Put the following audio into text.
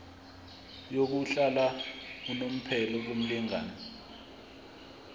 yokuhlala unomphela kumlingani